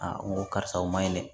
n ko karisa o ma ɲinɛ dɛ